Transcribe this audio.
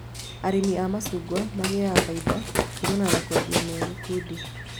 Arĩmi a macungwa magĩaga faida kumana na kwendia me gĩkundi